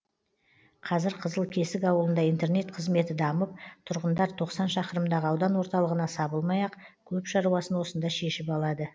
қазір қызылкесік ауылында интернет қызметі дамып тұрғындар тоқсан шақырымдағы аудан орталығына сабылмай ақ көп шаруасын осында шешіп алады